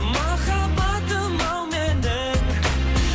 махаббатым ау менің